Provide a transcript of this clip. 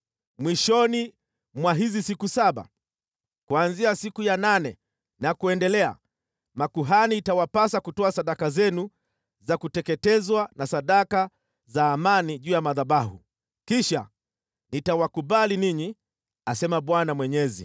Mwishoni mwa hizi siku saba, kuanzia siku ya nane na kuendelea, itawapasa makuhani kutoa sadaka zenu za kuteketezwa na sadaka za amani juu ya madhabahu. Kisha nitawakubali ninyi, asema Bwana Mwenyezi.”